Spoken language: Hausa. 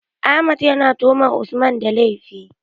Ahmed ya na tuhumar Usman da laifi